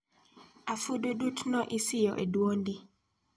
Afududut no isoyo e dwondi.